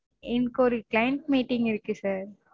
எனக்கு ஒரு client meeting இருக்கு sir